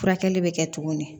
Furakɛli bɛ kɛ togo min